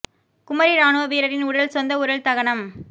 குமரி ராணுவ வீரரின் உடல் சொந்த ஊரில் தகனம்